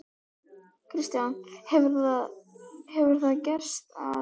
Kristján: Hefur það gerst að?